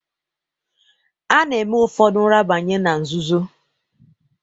Ana-eme ufodu nrabanye na nzụzoọ.